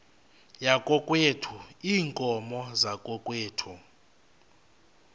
yakokwethu iinkomo zakokwethu